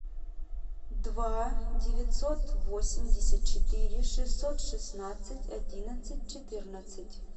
два девятьсот восемьдесят четыре шестьсот шестнадцать одиннадцать четырнадцать